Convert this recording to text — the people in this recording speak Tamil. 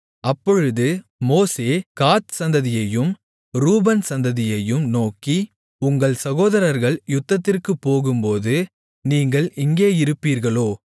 அப்பொழுது மோசே காத் சந்ததியையும் ரூபன் சந்ததியையும் நோக்கி உங்கள் சகோதரர்கள் யுத்தத்திற்குப் போகும்போது நீங்கள் இங்கே இருப்பீர்களோ